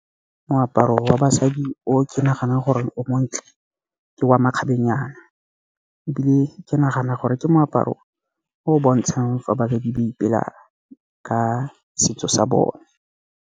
Moaparo wa basadi o ke naganang gore o montle ke wa makgabenyana. Ebile ke nagana gore ke moaparo o o bontshang fa ba ipela ka setso sa bone.